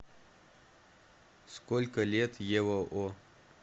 сколько лет ева о